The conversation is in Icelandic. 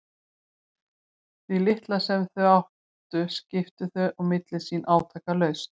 Því litla sem þau áttu skiptu þau á milli sín átakalaust.